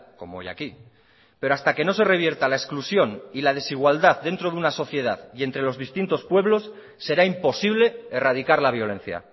como hoy aquí pero hasta que no se revierta la exclusión y la desigualdad dentro de una sociedad y entre los distintos pueblos será imposible erradicar la violencia